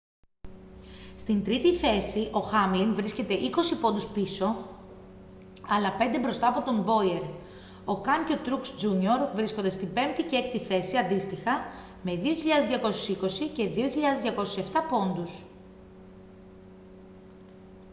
στην τρίτη θέση ο χάμλιν βρίσκεται είκοσι πόντους πίσω αλλά πέντε μπροστά από τον μπόιερ ο καν και ο τρουξ τζούνιορ βρίσκονται στην πέμπτη και έκτη θέση αντίστοιχα με 2.220 και 2.207 πόντους